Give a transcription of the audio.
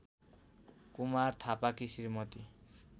कुमार थापाकी श्रीमती